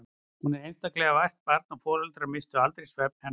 Hún var einstaklega vært barn og foreldrarnir misstu aldrei svefn hennar vegna.